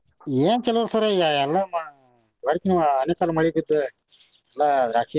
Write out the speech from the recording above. ಏನ್ ಚಲೋ ರೀ sir ಈಗ ಎಲ್ಲಾ ಆಲಿಕಲ್ಲು ಮಳೆ ಬಿದ್ದ್ ಎಲ್ಲಾ ದ್ರಾಕ್ಷಿ.